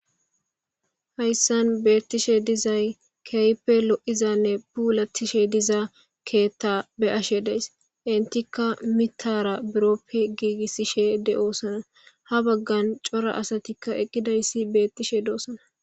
Hayssan beettishe dizay keype lo7izanne puulattishe dizaa keethta be ashe deys intikka mitara buroppe giigissishe de7osana ha baggan cora asatikka eqqidayssi beettishe doosana.